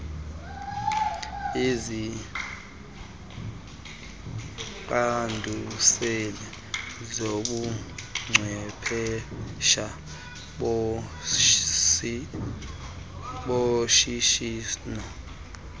iziqanduseli zobuchwephesha boshishino